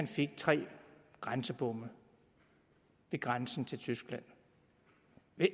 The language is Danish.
fik tre grænsebomme ved grænsen til tyskland